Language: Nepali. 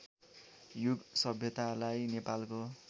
युग सभ्यतालाई नेपालको